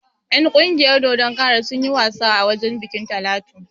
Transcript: En ƙungiyar dodon kara sunyi wasa a wajen bikin Talatu